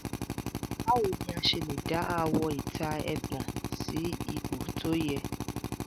báwo ni a ṣe lè dá àwọ̀-ìta ẹpọ̀n sí ipò tó yẹ?